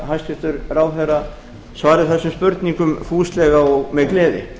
hæstvirtur ráðherra svari þessum spurningum fúslega og með gleði